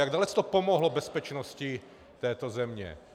Jak dalece to pomohlo bezpečnosti té země?